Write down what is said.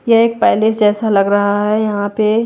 यह एक पैलेस जैसा लग रहा है यहां पे--